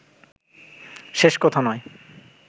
শেষ কথা নয়